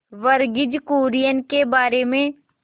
वर्गीज कुरियन के बारे में